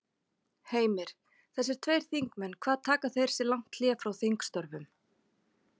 Heimir: Þessir tveir þingmenn hvað taka þeir sér lang hlé frá þingstörfum?